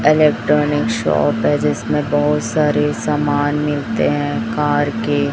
Electronic shop है जिसमें बहोत सारे सामान मिलते हैं कार के।